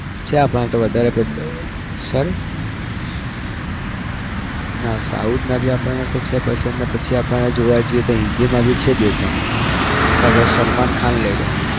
છે આપણને તો વધારે but sorry ના south ના भी આપણને તો છે પસંદ અને પછી આપણે જોવા જઈએ તો હિન્દીમાં भी છે બે ત્રણ એક તો સલમાન ખાન લઇ લો